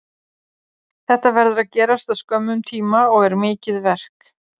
Þetta verður að gerast á skömmum tíma og er mikið verk.